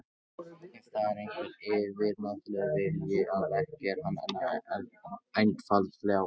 Ef þar er einhver yfirnáttúrulegur vilji að verki, er hann einfaldlega vondur.